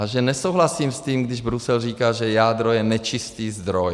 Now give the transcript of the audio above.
A že nesouhlasím s tím, když Brusel říká, že jádro je nečistý zdroj.